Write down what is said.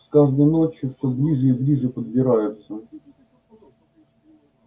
с каждой ночью всё ближе и ближе подбираются